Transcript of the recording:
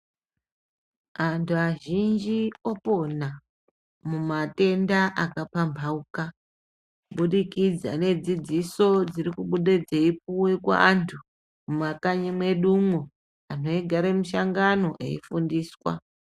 Antu azhinji opona mumatenda akapambaukana kubudikidza ngedzidziso dzirikubuda dzeipiwa kuantu mumakanyi mwedumo anhu eigare mishangano eifundiswa .